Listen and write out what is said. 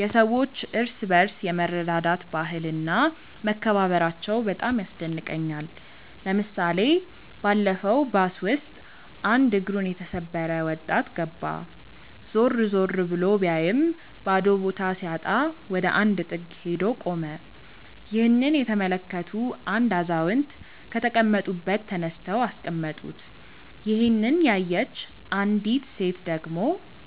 የሰዎች እርስ በርስ የመረዳዳት ባህል እና መከባበራቸው በጣም ያስደንቀኛል። ለምሳሌ ባለፈው ባስ ውስጥ አንድ እግሩን የተሰበረ ወጣት ገባ። ዞር ዞር ብሎ ቢያይም ባዶ ቦታ ሲያጣ ወደ አንድ ጥግ ሄዶ ቆመ። ይህንን የተመለከቱ አንድ አዛውንት ከተቀመጡበት ተነስተው አስቀመጡት። ይሄንን ያየች አንዲት ሴት ደግሞ